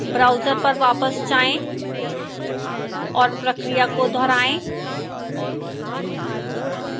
browser पर वापस जाएं और प्रक्रिया को दोहराएं